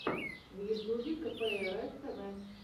в ютьюбе кэпээрэф тэвэ